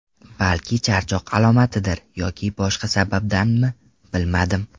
Balki charchoq alomatidir yoki boshqa sababdanmi, bilmadim.